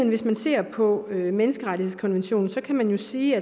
hvis man ser på menneskerettighedskonventionen kan man jo sige